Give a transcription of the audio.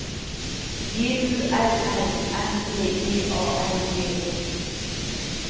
G U L L M E D A L J E